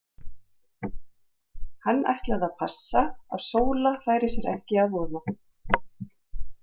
Hann ætlaði að passa að Sóla færi sér ekki að voða.